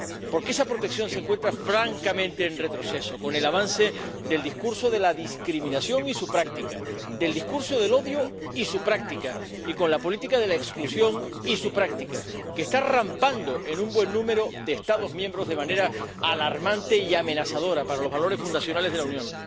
Porque esa protección se encuentra francamente en retroceso con el avance del discurso de la discriminación y su práctica, del discurso del odio y su práctica, y con la política de la exclusión y su práctica, que está rampando en un buen número de Estados miembros de manera alarmante y amenazadora para los valores fundacionales de la Unión.